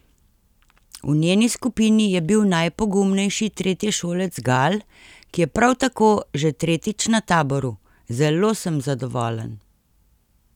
V njeni skupini je bil najpogumnejši tretješolec Gal, ki je prav tako že tretjič na taboru: "Zelo sem zadovoljen.